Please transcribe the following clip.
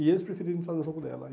E eles preferiram entrar no jogo dela.